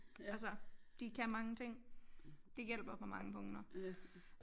Altså de kan mange ting det hjælper på mange punkter